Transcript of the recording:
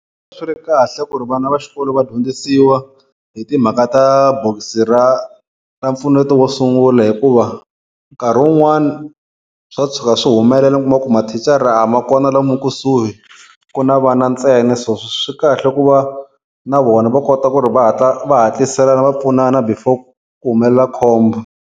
Swi ri kahle ku ri vana va xikolo va dyondzisiwa hi timhaka ta bokisi ra ra mpfuneto wo sungula hikuva nkarhi wun'wani swa tshuka swi humelela u kuma ku mathicara a ma kona lomu kusuhi ku na vana ntsena so swi kahle ku va na vona va kota ku ri va hatla va hatlisela va pfunana before ku humelela khombo.